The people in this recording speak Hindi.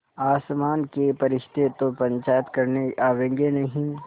आसमान के फरिश्ते तो पंचायत करने आवेंगे नहीं